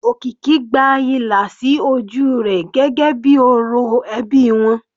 Okiki gba ìlà sí ojú rẹ̀ gẹ́gẹ́ bíi orò ẹbí wọn.